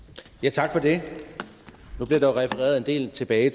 tak for det nu bliver der refereret en del tilbage